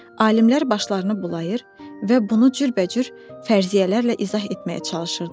Alimlər başlarını bulayır və bunu cürbəcür fərziyyələrlə izah etməyə çalışırdılar.